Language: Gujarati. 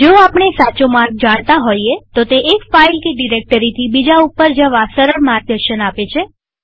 જો આપણે સાચો માર્ગ જાણતા હોઈએતો તે એક ફાઈલ કે ડિરેક્ટરીથી બીજા ઉપર જવા સરળ માર્ગદર્શન આપે છે